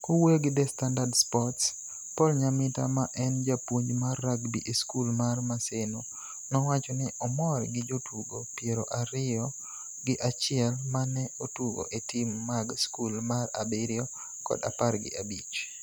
Kowuoyo gi The Standard Sports, Paul Nyamita ma en japuonj mar rugby e skul mar Maseno nowacho ni omor gi jotugo piero ario gi achiel ma ne otugo e tim mag skul mar abiriyo kod apar gi abich.